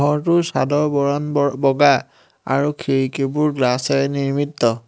ঘৰটোৰ চাদৰ বৰণ বৰ বগা আৰু খিৰিকীবোৰ গ্লাচেৰে নিৰ্মিত।